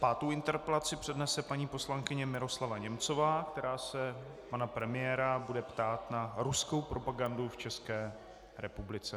Pátou interpelaci přednese paní poslankyně Miroslava Němcová, která se pana premiéra bude ptát na ruskou propagandu v České republice.